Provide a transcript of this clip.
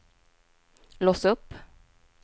lås upp